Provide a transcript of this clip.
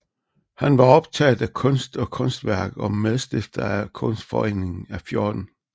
Han var optaget af kunst og kunsthåndværk og medstifter af Kunstforeningen af 14